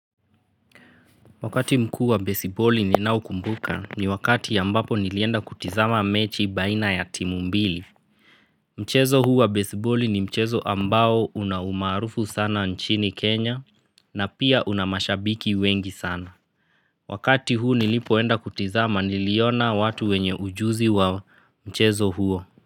Wakati mkuu wa besiboli ninao kumbuka ni wakati ambapo nilienda kutizama mechi baina ya timu mbili. Mchezo huu wa besiboli ni mchezo ambao una umaarufu sana nchini Kenya na pia una mashabiki wengi sana. Wakati huu nilipoenda kutizama niliona watu wenye ujuzi wa mchezo huo.